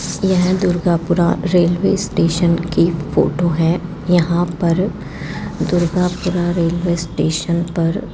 यह Durgapura railway station की photo है यहां पर दुर्गापुरा रेलवे स्टेशन पर --